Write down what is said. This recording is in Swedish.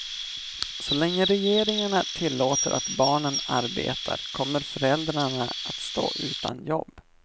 Så länge regeringarna tillåter att barnen arbetar kommer föräldrarna att stå utan jobb.